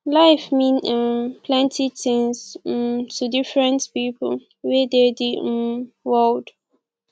life mean um plenty things um to different pipo wey dey di um world